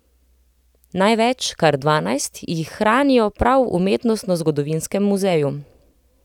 Največ, kar dvanajst, jih hranijo prav v Umetnostnozgodovinskem muzeju.